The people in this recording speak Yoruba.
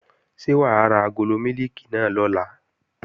Ṣé wà á ra agolo mílìkì náà lọ̀la?